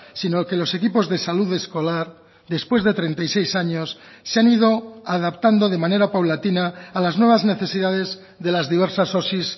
sino que los equipos de salud escolar después de treinta y seis años se han ido adaptando de manera paulatina a las nuevas necesidades de las diversas osi